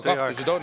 Teie aeg!